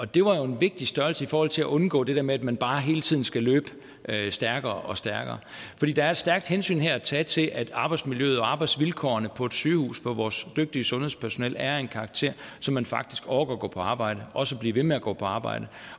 det var jo en vigtig størrelse i forhold til at undgå det der med at man bare hele tiden skal løbe stærkere og stærkere fordi der er et stærkt hensyn her at tage til at arbejdsmiljøet og arbejdsvilkårene på et sygehus for vores dygtige sundhedspersonale er af en karakter så man faktisk orker at gå på arbejde og også blive ved med at gå på arbejde